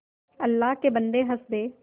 अल्लाह के बन्दे हंस दे